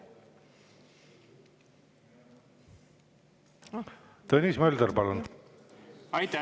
Tõnis Mölder, palun!